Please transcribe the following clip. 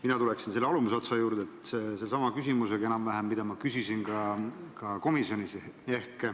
Mina küsiksin enam-vähem sellesama küsimuse, mida ma küsisin ka komisjonis.